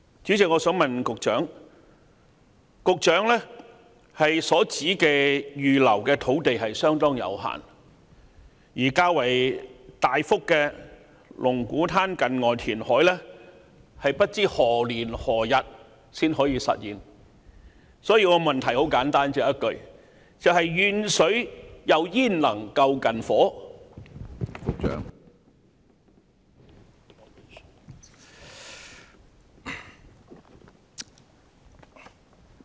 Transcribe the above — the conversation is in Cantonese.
主席，一如局長所指出，預留的土地相當有限，但龍鼓灘近岸填海工程所能提供的較大幅用地卻未知何時才能實現，所以我的補充質詢很簡單，只有一句說話：遠水焉能救近火？